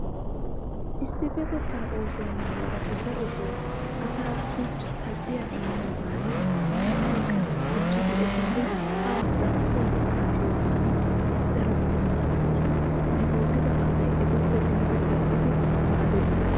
Issipetetta oosuwa maabaratta darotto asaassi tal'iya immiyooganinne qassikka asay ettawu dakkuwa zaariyoogan eretees. Qassikka metoottidda asay biidi ettappe tal'iya ekkees.